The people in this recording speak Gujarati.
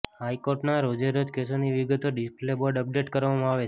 હાઇકોર્ટના રોજેરોજ કેસોની વિગતો ડિસપ્લે બોર્ડ અપડેટ કરવામાં આવે છે